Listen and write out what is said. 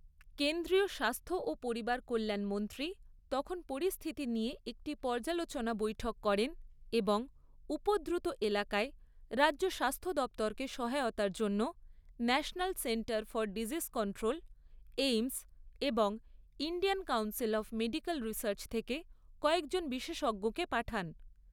কেন্দ্রীয় স্বাস্থ্য ও পরিবারকল্যাণ মন্ত্রী তখন পরিস্থিতি নিয়ে একটি পর্যালোচনা বৈঠক করেন এবং উপদ্রুত এলাকায় রাজ্য স্বাস্থ্য দপ্তরকে সহায়তার জন্য national centre for disease control, AIIMS এবং Indian council of medical research থেকে কয়েকজন বিশেষজ্ঞকে পাঠান।